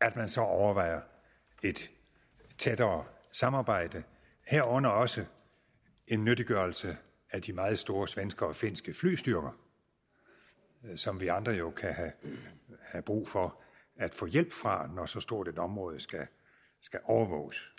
at man så overvejer et tættere samarbejde herunder også en nyttiggørelse af de meget store svenske og finske flystyrker som vi andre jo kan have brug for at få hjælp fra når så stort et område skal overvåges